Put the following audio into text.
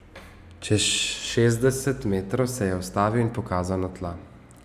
Čez šestdeset metrov se je ustavil in pokazal na tla.